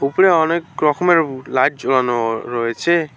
উপরে অনেক রকমের উ লাইট ঝুলানোও রয়েছে।